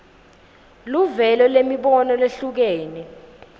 luvelo lwemibono lehlukene